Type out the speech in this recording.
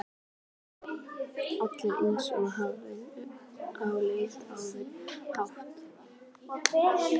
Alltaf eins og hamstur á leið á árshátíð.